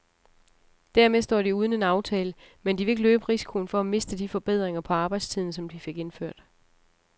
Dermed står de uden en aftale, men de vil ikke løbe risikoen for at miste de forbedringer på arbejdstiden, som de fik indført.